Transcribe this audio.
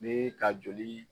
Ni ka joli